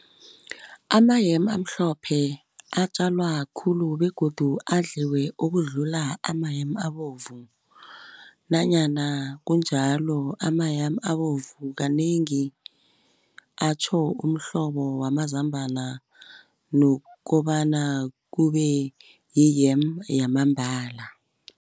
Ama-yam amhlophe atjalwa khulu begodu adliwe ukudlula ama-yam abovu, nanyana kunjalo ama-yam abovu kanengi atjho umhlobo wamazambana nokobana kube yi-yam yamambala.